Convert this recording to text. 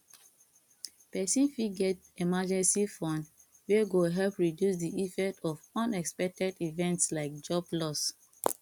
person fit get emergency fund wey go help reduce di effect of unexpected events like job loss